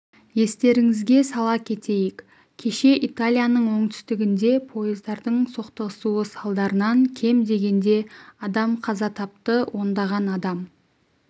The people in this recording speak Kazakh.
естеріңізге сала кетейік кеше италияның оңтүстігінде пойыздардың соқтығысуы салдарынан кем дегенде адам қаза тапты ондаған адам